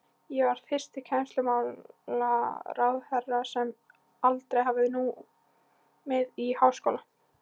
Ég var fyrsti kennslumálaráðherra, sem aldrei hafði numið í háskóla.